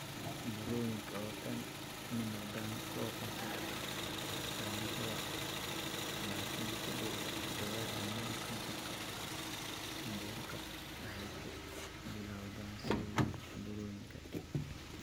Burooyinka oo dhan ma noqdaan kuwo kansar ah, laakiin ku dhawaad ​​dhammaan kansarka mindhicirka waxay ku bilowdaan sidii burooyin.